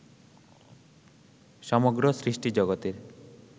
সমগ্র সৃষ্টিজগতের